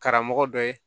Karamɔgɔ dɔ ye